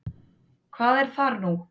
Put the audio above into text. Hvað er þar nú?